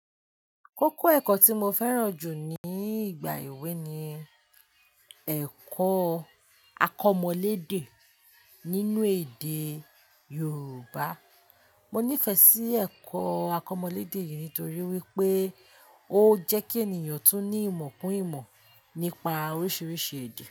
Kókó ẹ̀kọ́ tí mo fẹ́ràn jù ní ìgbà èwe ni ẹ̀kọ́ akọmọléde nínú èdè Yorùbá. Mo nífẹ̀ẹ́ sí ẹ̀kọ́ akọmọléde yìí nítorí wípé ó jẹ́ kí ènìyàn tún ní ìmọ̀ pún ìmọ̀ nípa oríṣiríṣi èdè.